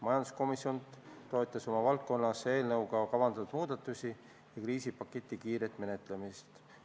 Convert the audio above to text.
Majanduskomisjon toetas oma valdkonnas eelnõuga kavandatud muudatusi ja kriisipaketi kiiret menetlemist.